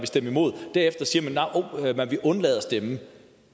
stemme imod derefter siger man at man vil undlade at stemme